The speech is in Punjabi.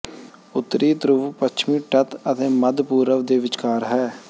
ਉੱਤਰੀ ਧਰੁਵ ਪੱਛਮੀ ਤੱਟ ਅਤੇ ਮੱਧ ਪੂਰਬ ਦੇ ਵਿਚਕਾਰ ਹੈ